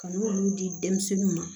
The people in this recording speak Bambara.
Ka n'olu di denmisɛnninw ma